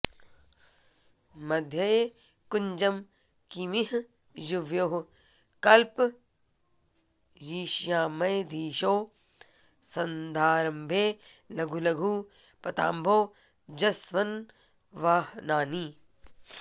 मध्ये कुञ्जं किमिह युवयोः कल्पयिष्याम्यधीशौ सन्धारम्भे लघु लघु पदाम्भोजसंवाहनानि